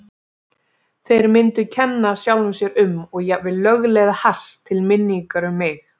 Þeir myndu kenna sjálfum sér um og jafnvel lögleiða hass til minningar um mig.